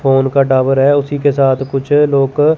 phone का tower है उसी के साथ कुछ लोग--